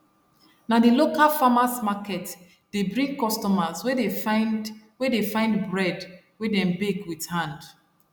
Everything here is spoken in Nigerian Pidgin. na the local farmers market dey bring customers wey dey find wey dey find bread wey them bake with hand